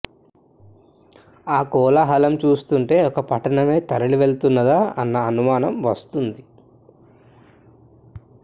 ఆ కోలాహలము చూస్తుంటే ఒక పట్టణమే తరలివెళ్ళుతున్నదా అన్న అనుమానము వస్తుంది